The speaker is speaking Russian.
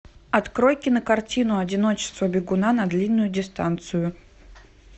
открой кинокартину одиночество бегуна на длинную дистанцию